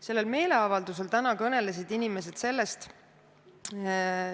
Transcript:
Tänasel meeleavaldusel kõnelesid inimesed järgmisest.